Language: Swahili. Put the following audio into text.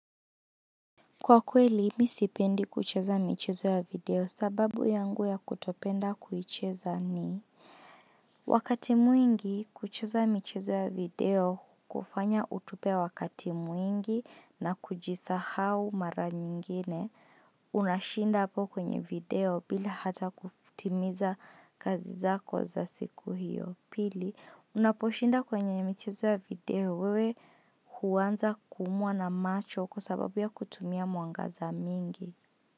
Kwa kweli, mimi sipendi kucheza michezo ya video sababu yangu ya kutopenda kuicheza ni Wakati mwingi kucheza michezo ya video kufanya utupe wakati mwingi na kujisahau mara nyingine Unashinda hapo kwenye video bila hata kutimiza kazi zako za siku hiyo. Pili Unaposhinda kwenye michizo ya video wewe huanza kuumwa na macho kwa sababu ya kutumia mwangaza mingi.